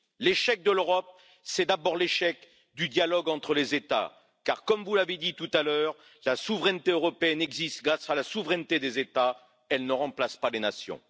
L'échec de l'Europe, c'est d'abord l'échec du dialogue entre les États, car comme vous l'avez dit tout à l'heure, la souveraineté européenne existe grâce à la souveraineté des États, elle ne remplace pas les nations.